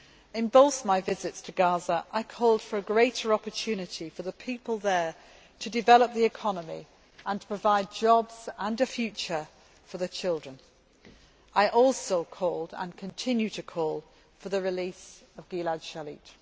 In both my visits to Gaza, I called for a greater opportunity for the people there to develop the economy and provide jobs and a future for their children. I also called, and continue to call, for the release of Gilad Shalit.